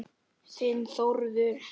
Þinn Þórður.